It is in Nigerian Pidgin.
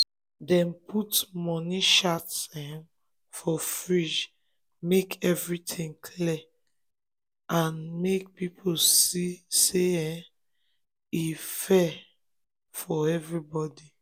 dem put money chart um for fridge make everything clear um and make people see say e um dey fair for everybody.